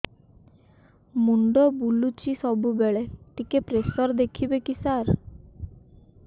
ମୁଣ୍ଡ ବୁଲୁଚି ସବୁବେଳେ ଟିକେ ପ୍ରେସର ଦେଖିବେ କି ସାର